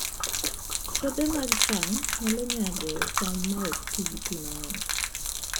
Puothe mag cham nyalo nyago cham ma ok ti gi pi mang'eny